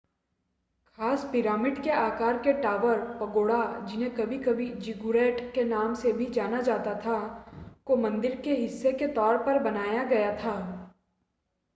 खास पिरामिड के आकार के टॉवर पगोडा जिन्हें कभी-कभी ज़िगुरैट के नाम से भी जाना जाता था को मंदिर के हिस्से के तौर पर बनाया गया था